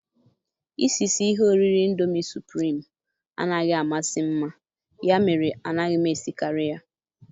Isisi ihe oriri ịndomi supụrim anaghị amasị mma, ya mere anaghị m esikarị ya.